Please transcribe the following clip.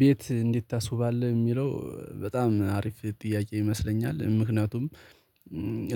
ቤት እንዴት ታስውባለህ? የሚለው በጣም አሪፍ ጥያቄ ይመስለኛል ምክንያቱም